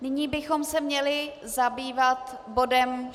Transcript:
Nyní bychom se měli zabývat bodem